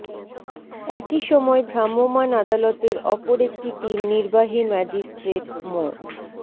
একই সময় ভ্রাম্যমাণ আদালতের অপর একটি টিম নির্বাহী ম্যাজিষ্ট্রেট মো